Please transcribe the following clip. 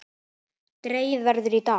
Dregið verður í dag.